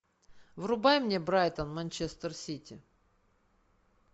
врубай мне брайтон манчестер сити